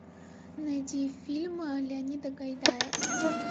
найди фильмы леонида гайдая